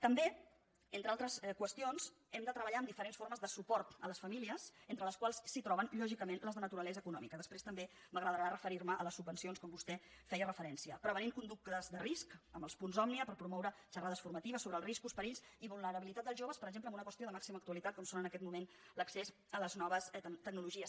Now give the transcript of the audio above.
també entre altres qüestions hem de treballar amb diferents formes de suport a les famílies entre les quals es troben lògicament les de naturalesa econòmica després també m’agradarà referir me a les subvencions com vostè hi feia referència prevenint conductes de risc amb els punts òmnia per promoure xerrades formatives sobre els riscos perills i vulnerabilitat dels joves per exemple en una qüestió de màxima actualitat com és en aquest moment l’accés a les noves tecnologies